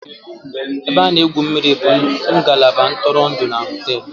Ebe a na-egwu mmiri bụ ngalaba ntụrụndụ na hóteélụ̀